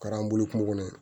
Kɛra an bolo kungo kɔnɔ